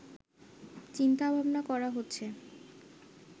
চিন্তাভাবনা করা হচ্ছে